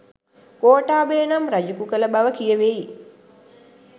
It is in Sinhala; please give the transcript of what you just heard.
ගෝඨාභය නම් රජෙකු කළ බව කියැවෙයි.